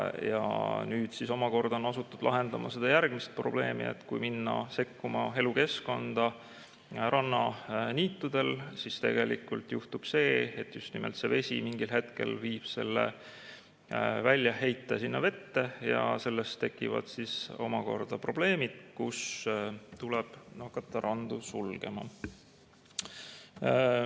Ja nüüd on omakorda asutud lahendama seda järgmist probleemi, et kui minna sekkuma elukeskkonda rannaniitudel, siis tegelikult juhtub see, et vesi mingil hetkel viib väljaheited merre ja sellest tekivad omakorda probleemid, nii et tuleb hakata randu sulgema.